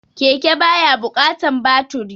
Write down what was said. Keke ba ya buƙatan baturi